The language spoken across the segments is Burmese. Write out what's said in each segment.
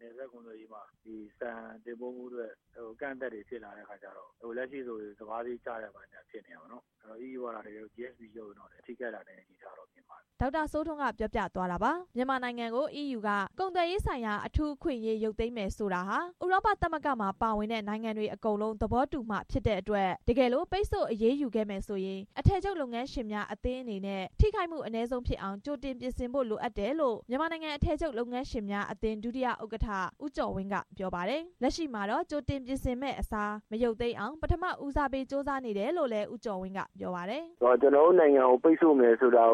နယ်စပ်ကုန်သွယ်ရေးမှာ ဆန်တင်ပို့မှုအတွက် အကန့်အသတ်တွေဖြစ်လာတဲ့အခါ လက်ရှိဆို စပါးဈေးကျတာတွေဖြစ်နေတယ်။ ဒီလိုအနေအထားမှာ အီးယူက GSP ရုပ်မယ်ဆိုရင် ပိုထိခိုက်လာမယ့် အနေအထားတော့မြင်ပါတယ်" ဒေါက်တာ စိုးထွန်း ပြောသွားတာပါ။ မြန်မာနိုင်ငံကို အီးယူက ကုန်သွယ်ရေးဆိုင်ရာ အထူးအခွင့်အရေး ရုပ်သိမ်းမယ်ဆိုတာဟာ ဥရောပ သမဂ္ဂမှာ ပါဝင်တဲ့ နိုင်ငံတွေ အကုန်လုံး သဘောတူမှဖြစ်တဲ့အတွက် တကယ်လို့ ပိတ်ဆို့အရေးယူခဲ့မယ်ဆိုရင် အထည်ချုပ်လုပ်ငန်းရှင်များအသင်းအနေနဲ့ ထိခိုက်မှု အနည်းဆုံးဖြစ်အောင် ကြိုတင်ပြင်ဆင်ဖို့ လိုအပ်တယ်လို့ မြန်မာနိုင်ငံ အထည်ချုပ် လုပ်ငန်းရှင်များအသင်း ဒုတိယ ဥက္ကဋ္ဌ ဦးကျော်ဝင်းက ပြောပါတယ်။ လက်ရှိမှာတော့ ကြိုတင်ပြင်ဆင်မယ့် အစားမရုပ်သိမ်းအောင် ပထမဦးစားပေး ကြိုးစားနေတယ်လို့လည်း ဦးကျော်ဝင်းက ပြောပါတယ်။ "ကျွန်တော်တို့နိုင်ငံကို ပိတ်ဆို့မယ်ဆိုရင်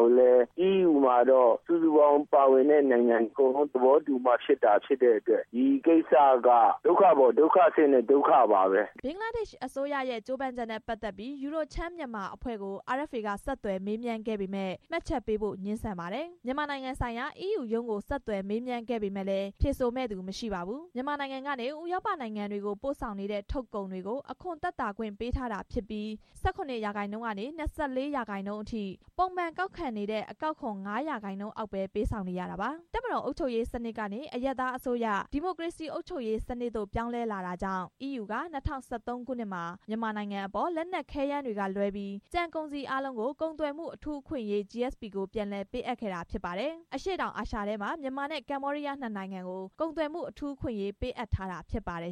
အီးယူမှာ စုစုပေါင်း ပါဝင်တဲ့နိုင်ငံ အကုန်လုံးသဘောတူမှ ဖြစ်တဲ့အတွက် ဒီကိစ္စက ဒုက္ခပေါ်ဒုက္ခဆင့်တဲ့ ဒုက္ခပါ" ဘင်္ဂလားဒေ့ရှ်အစိုးရရဲ့ ကြိုးပမ်းချက်နဲ့ပတ်သက်ပြီး EURO-Cham Myanmar အဖွဲ့ကို RFA က ဆက်သွယ်မေး မြန်းပေမယ့် မှတ်ချက်ပေးဖို့ ငြင်းဆန်ပါတယ်။ မြန်မာနိုင်ငံဆိုင်ရာ EU ရုံးကို ဆက်သွယ်မေးမြန်းပေမယ့်လည်း ဖြေဆိုမယ့်သူ မရှိပါဘူး။ မြန်မာနိုင်ငံကနေ ဥရောပနိုင်ငံတွေကို ပို့ဆောင်နေတဲ့ ထုတ်ကုန်တွေကို အခွန်သက်သာခွင့် ပေးထားတာဖြစ်ပြီး ၁၇ ရာခိုင်နှုန်းကနေ ၂၄ ရာခိုင်နှုန်းအထိ ပုံမှန်ကောက်ခံနေတဲ့ အကောက်ခွန်ကို ၅ ရာခိုင်နှုန်းအောက်ပ ဲပေးဆောင်နေရတာပါ။ တပ်မတော်အုပ်ချုပ်ရေး စနစ်ကနေ အရပ်သားအစိုးရ ဒီမိုကရေစီအုပ်ချုပ်ရေးစနစ်သို့ ပြောင်းလဲလာတာကြောင့် အီးယူက ၂၀၁၃ ခုနှစ်မှာ မြန်မာနိုင်ငံအပေါ် လက်နက်ခဲယမ်းတွေကလွဲပြီး ကျန်ကုန်စည်အားလုံးကို ကုန်သွယ်မှုအထူးအခွင့်အရေး GSP ကိုပြန်လည်ပေးအပ်ခဲ့တာဖြစ်ပြီး အရှေ့တောင်အာရှအထဲမှာ မြန်မာနဲ့ ကမ္ဘောဒီးယားနှစ်နိုင်ငံကို ကုန်သွယ်မှုအထူးအခွင့်အရေး ပေးထားတာဖြစ်ပါတယ်